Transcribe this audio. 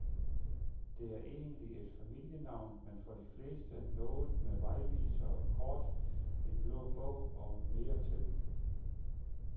Det er egentlig et familienavn, men for de fleste noget med vejvisere, kort, en blå bog og mere til.